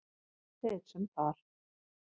Þeir sem þar